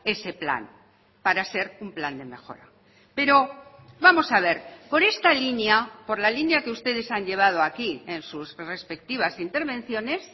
ese plan para ser un plan de mejora pero vamos a ver por esta línea por la línea que ustedes han llevado aquí en sus respectivas intervenciones